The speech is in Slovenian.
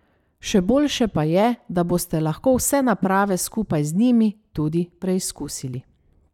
Še boljše pa je, da boste lahko vse naprave skupaj z njimi tudi preizkusili.